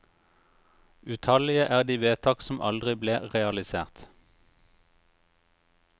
Utallige er de vedtak som aldri ble realisert.